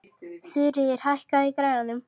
Þuríður, hækkaðu í græjunum.